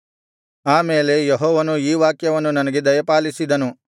ಆಮೇಲೆ ಯೆಹೋವನು ಈ ವಾಕ್ಯವನ್ನು ನನಗೆ ದಯಪಾಲಿಸಿದನು